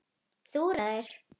Þú ræður!